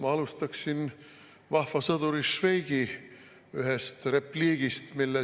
Ma alustaksin vahva sõduri Švejki ühest repliigist.